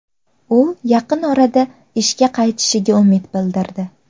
U yaqin orada ishga qaytishiga umid bildirdi.